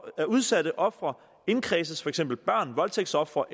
at udsatte ofre indkredses for eksempel børn voldtægtsofre og